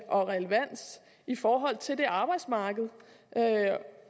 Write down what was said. og relevans i forhold til det arbejdsmarked